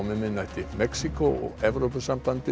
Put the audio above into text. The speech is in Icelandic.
miðnætti Mexíkó og Evrópusambandið